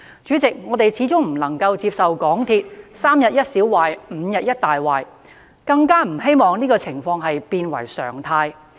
主席，我們始終不能夠接受港鐵"三天一小壞、五天一大壞"，更不希望這種情況變為常態。